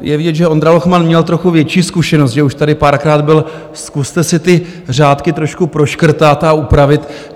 je vidět, že Ondra Lochman měl trochu větší zkušenost, že už tady párkrát byl, zkuste si ty řádky trošku proškrtat a upravit.